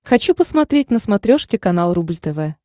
хочу посмотреть на смотрешке канал рубль тв